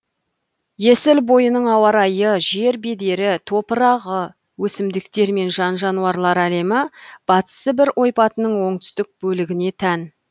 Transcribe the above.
есіл бойының ауа райы жер бедері топырағы өсімдіктер мен жан жануарлар әлемі батыс сібір ойпатының оңтүстік бөлігіне тән